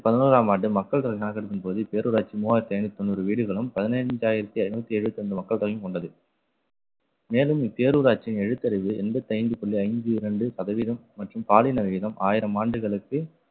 பதினோறாம் ஆண்டு மக்கள் தொகை நகரத்தின் போது பேரூராட்சி மூவாயிரத்தி ஐந்நூத்தி தொண்ணூறு வீடுகளும் பதினைந்தாயிரத்தி ஐந்நூத்தி எழுபத்தி இரண்டு மக்கள் தொகையும் கொண்டது. மேலும் இப்பேரூராச்சியின் எழுத்தறிவு எண்பத்தைந்து புள்ளி ஐந்து இரண்டு சதவீதம் மற்றும் பாலின விகிதம் ஆயிரம் ஆண்டுகளுக்கு